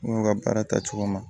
N y'o ka baara taa cogo min na